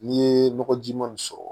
N'i ye nɔgɔjiman sɔrɔ